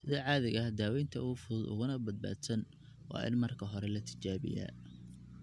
Sida caadiga ah, daawaynta ugu fudud uguna badbaadsan waa in marka hore la tijaabiyaa.